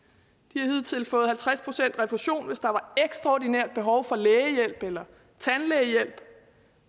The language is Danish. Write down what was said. har hidtil fået halvtreds procent refusion hvis der var ekstraordinært behov for lægehjælp eller tandlægehjælp